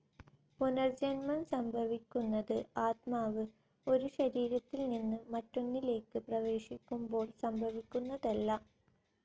പുനർജ്ജന്മം സംഭവിക്കുന്നത് ആത്മാവ് ഒരു ശരീരത്തിൽ നിന്ന് മറ്റൊന്നിലേക്ക് പ്രവേശിക്കുമ്പോൾ സംഭവിക്കുന്നതല്ല.